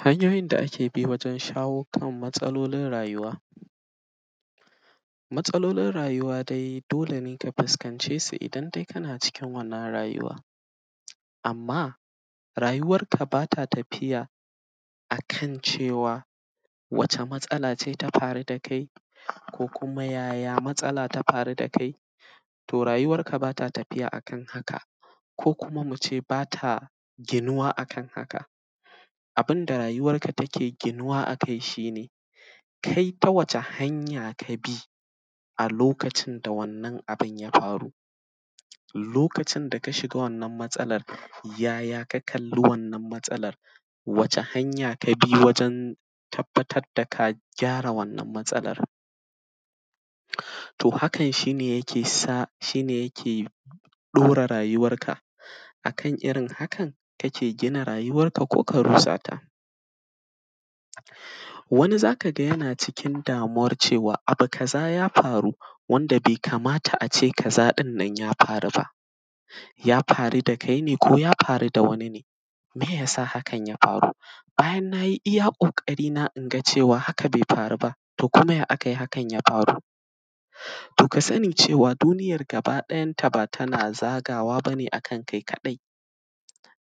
Hanyoyin da ake bi wajen shawo kan matsalolin rayuwa. Matsalolin rayuwa dai dole ne ka fuskance su idan de kana cikin wannan rayuwa. Amma, rayuwarka ba ta tafiya a kan cewa wace matsala ce ta faru da kai ko kuma yaya matsala ta faru da kai, to rayuwarka ba ta tafiya a kan haka ko kuma mu ce ba ta ginuwa a kan haka. Abin da rayuwarka take ginuwa a kai shi ne, kai ta wacce hanya ka bi a lokacin da wannan abin ya faru Lokacin da ka shiga wannan matsalar, yay aka kalli wannan matsalar, wace hanya ka bi wajen tabbatad da ka gyara wannan matsalar. To, hakan shi ne yake sa; shi ne yake ɗora rayuwarka, a kan irin hakan, kake gina rayuwarka ko ka rusa ta. Wani, za ka ga yana cikin damuwar cewa, abu kaza ya faru, wanda be kamata a ce kaza ɗin nan ya faru ba, ya faru da kai ne ko ya faru da wani ne, meye ya sa hakan ya faru. Bayan na yi iya ƙoƙarina in ga cewa haka be faru ba, to kuma ya akai hakan ya faru. To, ka sani cewa duniyar gabaɗayanta ba tana zagawa ba ne a kan kai kaɗai